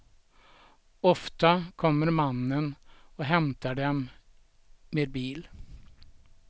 Ofta kommer mannen och hämtar dem med bil.